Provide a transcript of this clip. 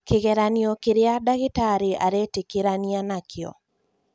kĩgeranio kĩrĩa dagĩtarĩ aretikirania nakĩo